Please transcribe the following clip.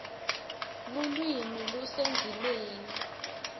lulwimi lusendzimeni